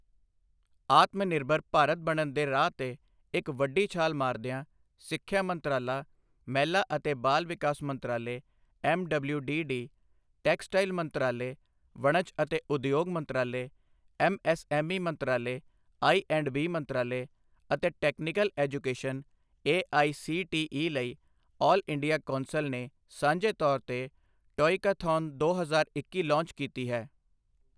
ਆਤਮਨਿਰਭਰ ਭਾਰਤ ਬਣਨ ਦੇ ਰਾਹ ਤੇ ਇੱਕ ਵੱਡੀ ਛਾਲ ਮਾਰਦਿਆਂ, ਸਿੱਖਿਆ ਮੰਤਰਾਲਾ, ਮਹਿਲਾ ਅਤੇ ਬਾਲ ਵਿਕਾਸ ਮੰਤਰਾਲੇ ਐੱਮਡਬਲਯੂਡੀਡੀ, ਟੈਕਸਟਾਈਲ ਮੰਤਰਾਲੇ, ਵਣਜ ਅਤੇ ਉਦਯੋਗ ਮੰਤਰਾਲੇ, ਐੱਮਐੱਸਐੱਮਈ ਮੰਤਰਾਲੇ, ਆਈਐਂਡਬੀ ਮੰਤਰਾਲੇ ਅਤੇ ਟੈਕਨੀਕਲ ਐਜੂਕੇਸ਼ਨ ਏਆਈਸੀਟੀਈ ਲਈ ਆਲ ਇੰਡੀਆ ਕੌਂਸਲ ਨੇ ਸਾਂਝੇ ਤੌਰ ਤੇ ਟੌਇਕਾਥੌਨ ਦੋ ਹਜ਼ਾਰ ਇੱਕੀ ਲਾਂਚ ਕੀਤੀ ਹੈ।